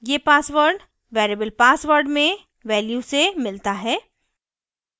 ये password variable password में value से मिलता है